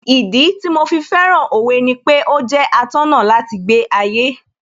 Ìdí tí mo fi fẹ́ràn Òwe ni pé ó jẹ́ atọ́nà láti gbé ayé